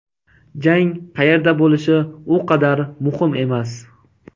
Jang qayerda bo‘lishi u qadar muhim emas.